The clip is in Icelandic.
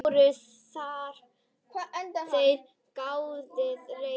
LÁRUS: Þér getið reynt.